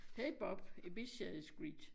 Hey Bob Ibiza is great